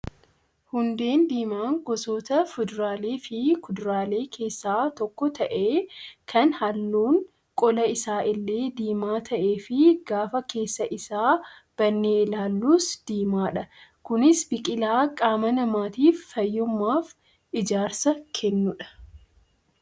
Hundeen diimaa gosoota fuduraalee fi kuduraalee keessaa tokko ta'ee kan halluun qola isaa illee diimaa ta'ee fi gaafa keessa isaa bannee ilaallus diimaadha. Kunis biqilaa qaama namaatiif fayyummaa fi ijaarsa kennudha.